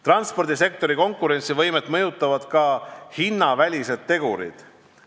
Transpordisektori konkurentsivõimet mõjutavad ka hinnavälised tegurid.